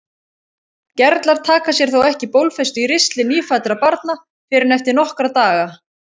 Gerlar taka sér þó ekki bólfestu í ristli nýfæddra barna fyrr en eftir nokkra daga.